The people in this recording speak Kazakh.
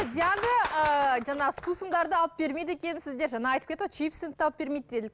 зиянды ыыы жаңағы сусындарды алып бермейді екенсіздер жаңа айтып кетті ғой чипсіні де алып бермейді деді